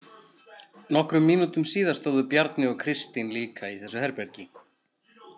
Nokkrum mínútum síðar stóðu Bjarni og Kristín líka í þessu herbergi.